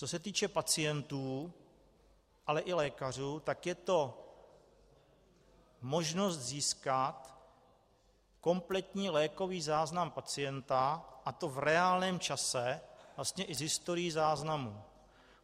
Co se týče pacientů, ale i lékařů, tak je to možnost získat kompletní lékový záznam pacienta, a to v reálném čase, vlastně i s historií záznamů.